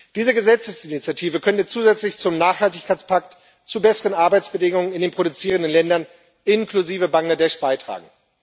Diese Gesetzesinitiative könnte zusätzlich zum Nachhaltigkeitspakt zu besseren Arbeitsbedingungen in den produzierenden Ländern inklusive Bangladeschs beitragen.